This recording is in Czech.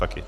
Taky.